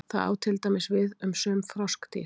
það á til dæmis við um sum froskdýr